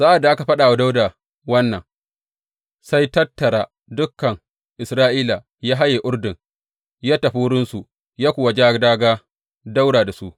Sa’ad da aka faɗa wa Dawuda wannan, sai tattara dukan Isra’ila ya haye Urdun; ya tafi wurinsu ya kuwa ja dāgā ɗaura da su.